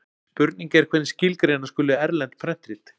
Spurning er hvernig skilgreina skuli erlend prentrit.